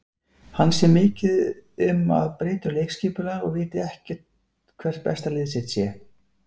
Hann sé mikið að breyta um leikskipulag og viti ekki hvert besta lið sitt sé.